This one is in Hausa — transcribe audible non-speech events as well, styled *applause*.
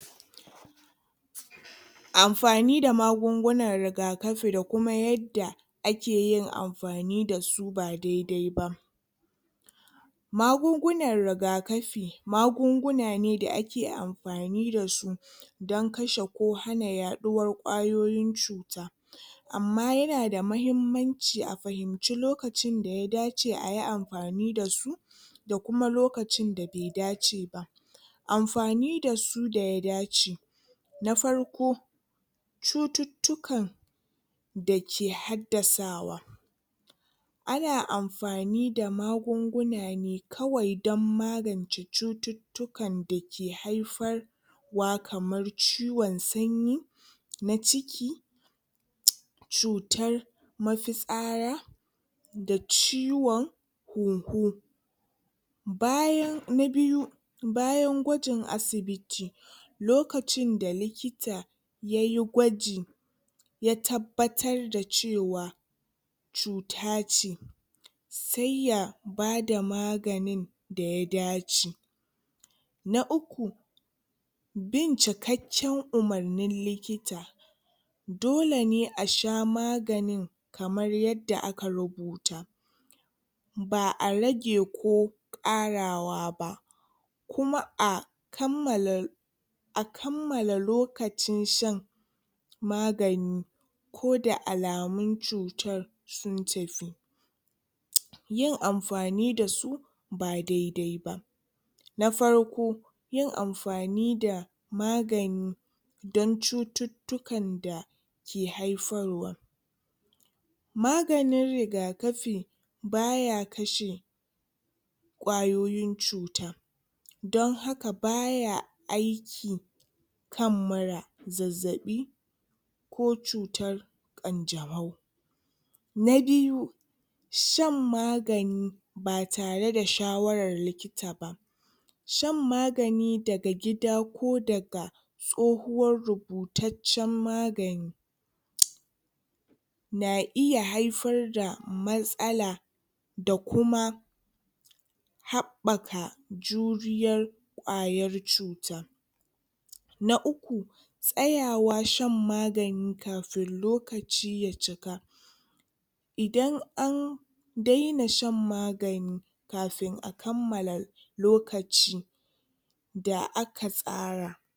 Amfani da magungunan rigakafi da kuma yadda ake yin amfani dasu ba dai-dai ba. Magungunan rigakafi, magunguna ne da ake yin amfani da su don kashe ko hana yaɗuwar ƙwayoyin cuta. Amma ya da mahimmanci a fahimci lokacin da ya dace ayi amfani da su da kuma lokacin da be dace ba. Amfani dasu da ya dace; Na farko cututtukan da ke haddasawa. Ana amfani da magunguna ne kawai don magance cututtukan da ke haifar wa kamar ciwon sanyi, na ciki, cutar mafitsara, da ciwon huhu. Bayan na biyu, bayan gwajin asibiti. Lokacin da likita yayi gwaji ya tabbatar da cewa cuta ce sai ya bada maganin da ya dace. Na uku bin cikakken umurnin likita. dole ne a sha maganin kamar yadda aka rubuta ba'a rage ko ƙarawa ba kuma a kammala a kammala lokacin shan magani koda alamaun cutar sun tafi. Yin amfani da su ba dai-dai ba; Na farko yin amfani da magani don cututtukan da ke haifarwa. Maganin rigakafi ba ya kashe ƙwayoyin cuta don haka baya aiki kan mura, zazzaɓi ko cutar ƙanjamau. Na biyu shan magani ba tare da shawarar likita ba. Shan magani daga gida ko daga tsohuwar rubutaccen magani *noise* na iya haifar da matsala da kuma haɓɓaka juriyar ƙwayar cuta. Na uku tsayawa shan magani kafin lokaci ya cika idan an daina shan magani kafin a kammala lokaci da aka tsara